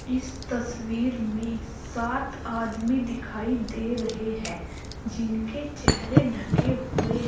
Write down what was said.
इस तस्वीर में सात आदमी दिखाई दे रहे हैं जिनके चेहरे ढके हुए हैं।